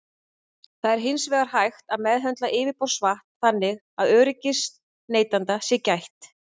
Það er hins vegar hægt að meðhöndla yfirborðsvatn þannig að öryggis neytenda sé gætt.